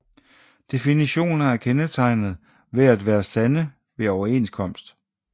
Definitioner er kendetegnet ved at være sande ved overenskomst